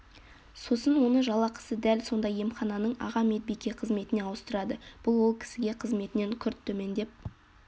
сосын оны жалақысы дәл сондай емхананың аға медбике қызметіне ауыстырады бұл ол кісіге қызметінен күрт төмендеп